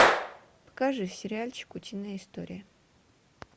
покажи сериальчик утиные истории